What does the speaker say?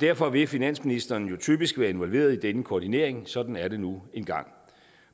derfor vil finansministeren jo typisk være involveret i denne koordinering sådan er det nu engang